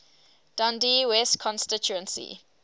dundee west constituency